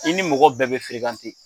I ni mɔgɔ bɛɛ bɛ